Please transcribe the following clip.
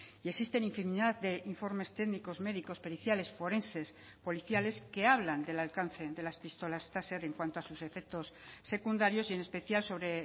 y existen infinidad de informes técnicos médicos periciales forenses policiales que hablan del alcance de las pistolas taser en cuanto a sus efectos secundarios y en especial sobre